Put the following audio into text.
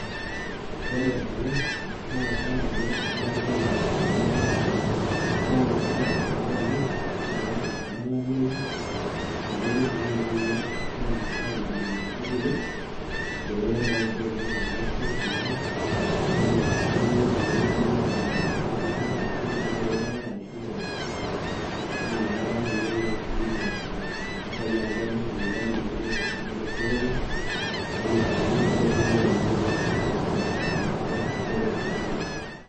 ore ena naa kadoolta ajo esilanke ena natii enkare. nisulaki tenkata olameyu amu ekintumia dii ninye aitubulunye nkaitubulu, peeku ore taisere netum olosho edaa, neitmiae sii aitubulunye nkaitubulu, sanisana, duo naaji irpaek, arashu mpoosho naa inakata naaji etum wakulima mpisai amu kemir lelo paek lenye netu mpisai tosokoni, nemi, sii ore sii ilairemok naa ketum sii ninche mpisai eimu duo esiai oolchampai.